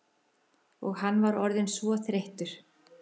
Og hann var orðinn svo þreyttur.